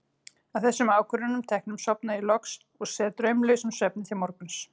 Að þessum ákvörðunum teknum sofna ég loks og sef draumlausum svefni til morguns.